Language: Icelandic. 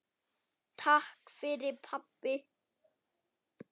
Takk fyrir pabbi.